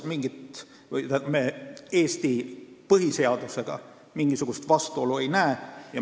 Praegusel juhul me Eesti põhiseadusega mingisugust vastuolu ei näe.